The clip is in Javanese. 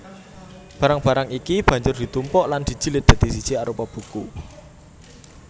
Barang barang iki banjur ditumpuk lan dijilid dadi siji arupa buku